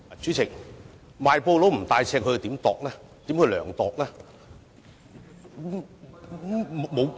主席，賣布不帶尺，如何進行量度？